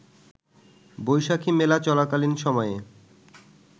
বৈশাখি মেলা চলাকালীন সময়ে